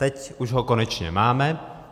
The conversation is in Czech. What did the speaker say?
Teď už ho konečně máme.